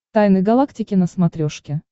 тайны галактики на смотрешке